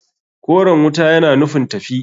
Koren wuta yana nufin tafi.